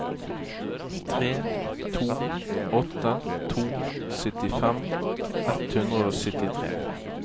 tre to åtte to syttifem ett hundre og syttitre